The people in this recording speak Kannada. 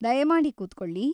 ದಯಮಾಡಿ ಕೂತ್ಕೊಳ್ಳಿ.